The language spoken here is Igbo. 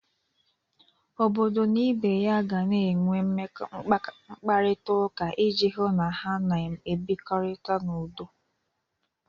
Obodo na ibe ya ga na-enwe mkparịtaụka iji hụ na ha na-ebirikọta n'udo.